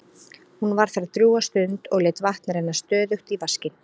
Hún var þar drjúga stund og lét vatn renna stöðugt í vaskinn.